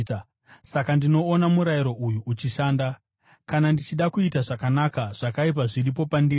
Saka ndinoona murayiro uyu uchishanda: Kana ndichida kuita zvakanaka, zvakaipa zviripo pandiri.